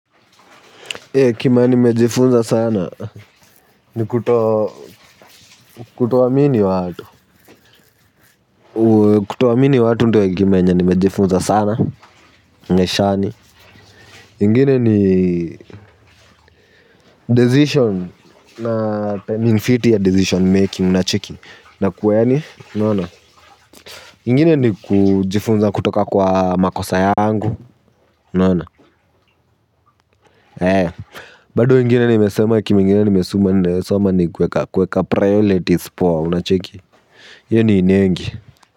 Ilehe kima nimejifunza sana. Nikuto kutoamini watu kutoamini watu ndiyo hekimayenye nimejifunza sana. Ngeshani ingine ni Decision Na ya decision making. Unacheki. Na kuwayaani unaona. Ingine ni kujifunza kutoka kwa makosa yangu unaona. Bado ingine nimesema. Kimingine nimesoma. Nimesoma ni kuweka. Kuweka priorities. Unacheki hiyoni inengi.